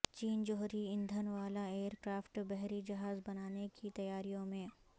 چین جوہری ایندھن والا ائیر کرافٹ بحری جہاز بنانے کی تیاریوں میں